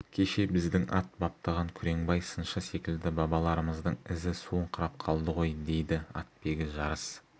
кеше біздің ат баптаған күреңбай сыншы секілді бабаларымыздың ізі суыңқырап қалды ғой дейді атбегі жарыс